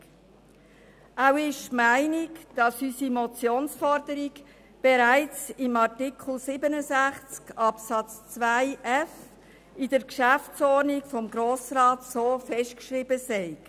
Auch ist sie der Meinung, dass unsere Motionsforderung bereits in Artikel 67 Absatz 2 Buchstabe f der Geschäftsordnung des Grossen Rates (GO) so festgeschrieben sei.